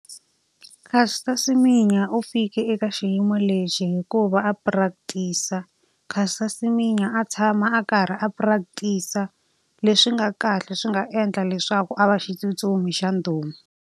Caster Semenya u fikile eka xiyimo lexi hi ku va a practice-a. Caster Semenya a tshama a karhi a practice-a leswi nga kahle swi nga endla leswaku a va xitsutsumi xa ndhuma.